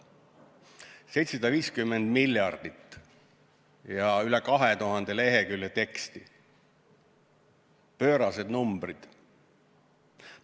750 miljardit ja üle 2000 lehekülje teksti – pöörased numbrid!